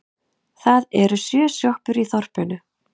Það eru sjö sjoppur í þorpinu!